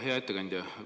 Hea ettekandja!